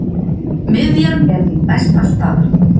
Miðjan er mín besta staða.